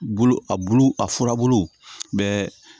Bulu a bulu a furabulu bɛɛ